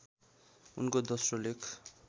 उनको दोस्रो लेख